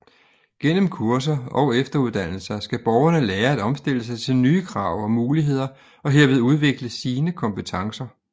Gennem kurser og efteruddannelser skal borgerne lære at omstille sig til nye krav og muligheder og herved udvikle sine kompetencer